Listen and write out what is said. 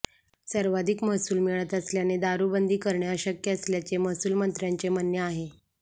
सर्वाधिक महसूल मिळत असल्याने दारूबंदी करणे अशक्य असल्याचे महसूलमंत्र्यांचे म्हणणे आहे